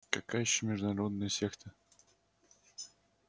какая ещё междугородная секта